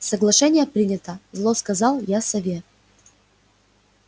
соглашение принято зло сказал я сове